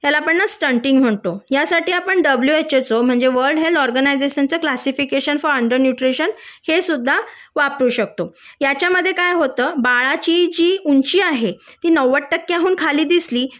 त्याला आपण न स्टंटिंग म्हणतो यासाठी आपण डब्लू एच एस ओ म्हणजे वर्ल्ड हेल्थ ऑर्गनायजेशन च्या क्लासिफिकेशन फॉर अन्डर न्यूट्रिशन हे सुद्धा वापरू शकतो याच्यामद्धे काय होत बाळाची जी ऊंची आहे ती नव्वद टक्क्याहून खाली दिसली